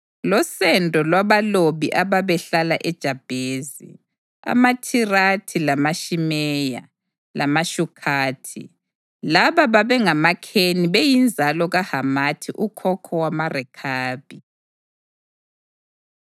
losendo lwabalobi ababehlala eJabhezi: AmaThirathi lamaShimeya lamaSukhathi. Laba babengamaKheni beyinzalo kaHamathi ukhokho wamaRekhabi.